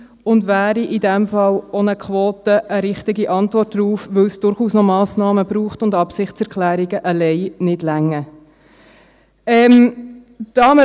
In diesem Fall wäre eine Quote auch eine richtige Antwort darauf, weil es durchaus noch Massnahmen braucht und Absichtserklärungen allein nicht ausreichen.